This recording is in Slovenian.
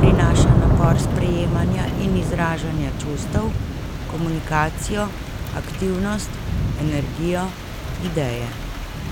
prinaša napor sprejemanja in izražanja čustev, komunikacijo, aktivnost, energijo, ideje.